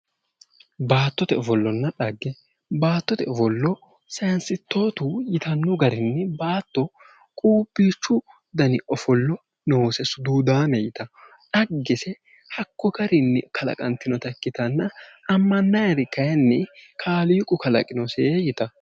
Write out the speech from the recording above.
Baattote ofollonna xagge baattote ofollo santistootu yitanno garinni baatto quuphiichu dani ofollo noose suduudaamete yitanno xaggese hakko garinni kalaqantinota ikkitanna amma'nayiri kayiinni kaaliiqu qalaqino yitanno.